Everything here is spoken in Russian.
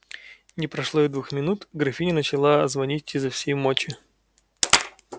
не прошло и двух минут графиня начала звонить изо всей мочи